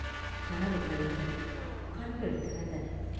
கனவு கலைந்தது; கண்கள் திறந்தன.